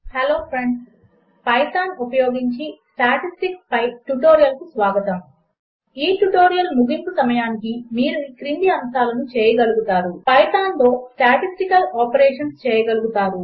hello friends Python ఉపయోగించి statistics పై ట్యుటోరియల్కు స్వాగతం 1 ఈ ట్యుటోరియల్ ముగింపు సమయమునకు మీరు ఈ క్రింది అంశములు చేయగలుగుతారు 2 పైథాన్లో స్టాటిస్టికల్ ఆపరేషన్స్ చేయగలుగుతారు